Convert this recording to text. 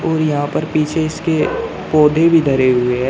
और यहां पर पीछे इसके पौधे भी धरे हुए है।